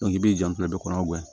i b'i janto kɔnɔ